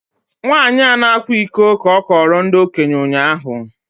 Nwanyị a na-akwa iko ka a kọọrọ ndị okenye ụnyahụ